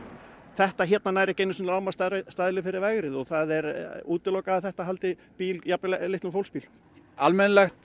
þetta hérna nær ekki einu sinni fyrir vegrið og það er útilokað að þetta haldi bíl jafnvel litlum fólksbíl almennilegt